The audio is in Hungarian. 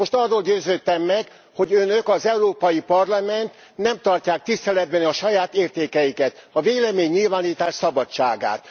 Most arról győződtem meg, hogy Önök, az Európai Parlament, nem tartják tiszteletben a saját értékeiket a véleménynyilvánítás szabadságát.